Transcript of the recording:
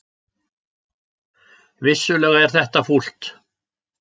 Vissulega er þetta fúlt